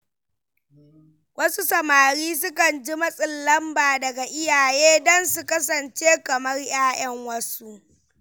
Wasu samari sukan ji matsin lamba daga iyaye don su kasance kamar ‘ya’yan wasu.